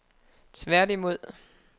tværtimod